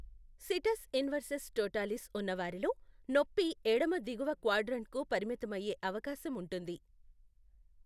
Cetus inversus totalis ఉన్నవారిలో నొప్పి ఎడమ దిగువ క్వాడ్రంట్కు పరిమితమయ్యే అవకాశం ఉంటుంది.